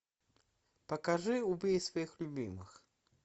покажи убей своих любимых